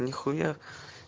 нехуя